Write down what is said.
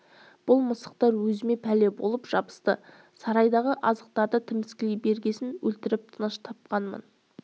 бұл мысықтар өзіме пәле болып жабысты сарайдағы азықтарды тіміскілей бергесін өлтіріп тыныш тапқанмын